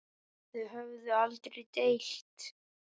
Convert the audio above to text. Þau höfðu aldrei deilt.